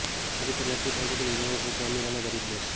આ રીતે નક્કી થાય છે દુનિયાના સૌથી અમીર અને ગરીબ દેશ